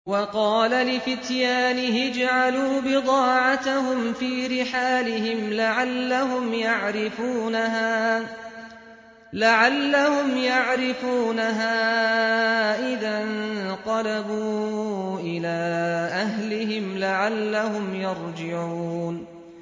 وَقَالَ لِفِتْيَانِهِ اجْعَلُوا بِضَاعَتَهُمْ فِي رِحَالِهِمْ لَعَلَّهُمْ يَعْرِفُونَهَا إِذَا انقَلَبُوا إِلَىٰ أَهْلِهِمْ لَعَلَّهُمْ يَرْجِعُونَ